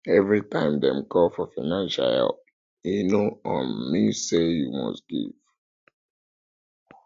every time dem call for financial help e no um mean say you must give